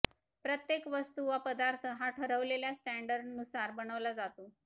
प्रत्येक वस्तू वा पदार्थ हा ठरवलेल्या स्टँडर्डनुसार बनवला जातो